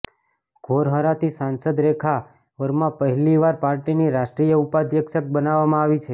ઘૌરહરાથી સાંસદ રેખા વર્મા પહેલી વાર પાર્ટીની રાષ્ટ્રીય ઉપાધ્યક્ષ બનાવવામાં આવી છે